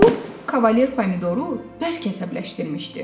Bu, Kavaler Pomidoru bərk əsəbləşdirmişdi.